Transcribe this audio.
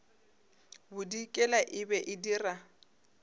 bodikela e be e dira